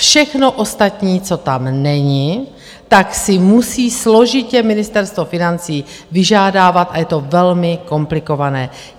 Všechno ostatní, co tam není, tak si musí složitě Ministerstvo financí vyžádávat a je to velmi komplikované.